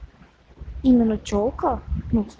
именно чёлка